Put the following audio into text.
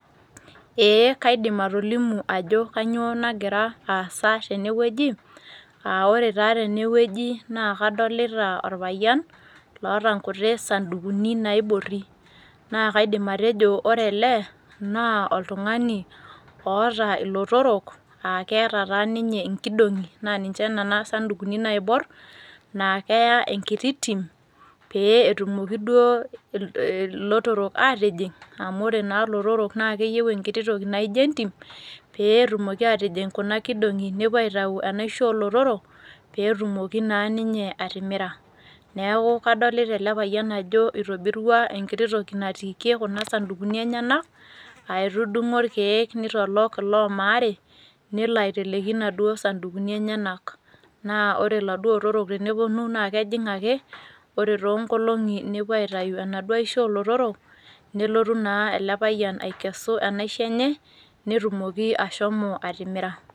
Eeh kaidim atolimu ajo kanyoo nagiraasa tenewueji [aa] ore taa tenewueji naa kadolita orpayian loota nkuti sandukuni naaiborri. Naakaidim atejo orele naa oltung'ani oota ilotorok aakeata taaninye inkidong'i naaninche nena sandukuni naaiborr naa keya enkiti tim pee etumoki duo ilotorok aatijing' amu ore naa lotorok naakeyeu enkiti toki naaijo entim peetumoki atijing' kuna kidong'i nepuo aitau enaisho olotorok peetumoki naa ninye atimira. Neaku kadolita ele payian ajo eitobirua enkiti toki natiikie kuna sandukuni enyenak aaetudung'o ilkeek neitolok loo maare nelo aiteleki naduo sandukuni enyenak. Naa ore laduo otorok tenepuonu naa kejing' ake, ore toonkolong'i aitayu enaduo aisho olotorok nelotu naa elepayian aikesu enaisho enye netumoki ashomo atimira.